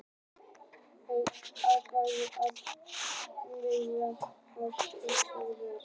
Auk þess bætist alltaf meira eða minna af brennisteini við hið veðraða berg.